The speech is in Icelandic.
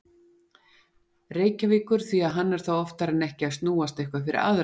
Reykjavíkur því að hann er þá oftar en ekki að snúast eitthvað fyrir aðra.